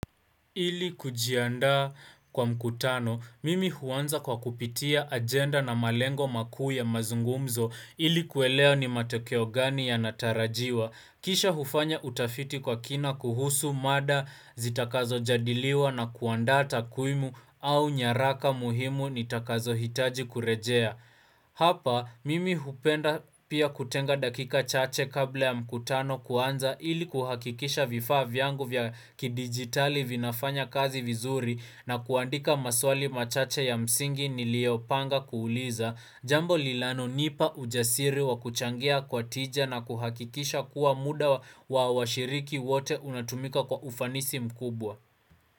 Ili kujiandaa kwa mkutano, mimi huanza kwa kupitia agenda na malengo makuu ya mazungumzo ili kuelea ni matokeo gani yanatarajiwa. Kisha hufanya utafiti kwa kina kuhusu mada zitakazojadiliwa na kuanda takwimu au nyaraka muhimu nitakazohitaji kurejea. Hapa mimi hupenda pia kutenga dakika chache kabla ya mkutano kuanza ili kuhakikisha vifaa vyangu vya kidigitali vinafanya kazi vizuri na kuandika maswali machache ya msingi niliyopanga kuuliza Jambo lilanonipa ujasiri wa kuchangia kwa tija na kuhakikisha kuwa muda wa wa washiriki wote unatumika kwa ufanisi mkubwa.